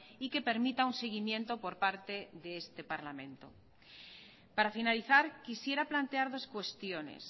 y que permita un seguimiento por parte de este parlamento para finalizar quisiera plantear dos cuestiones